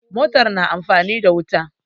Mota na amfani da wuta.